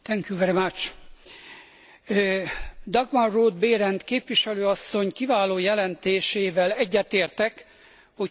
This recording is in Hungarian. Dagmar Roth Behrendt képviselő asszony kiváló jelentésével egyetértek, hogy túl kell lépnünk a korábbi félelmeinken.